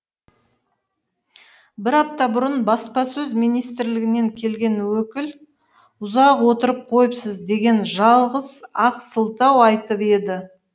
бір апта бұрын баспасөз министрлігінен келген өкіл ұзақ отырып қойыпсыз деген жалғыз ақ сылтау айтып еді